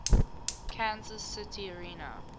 kansas city area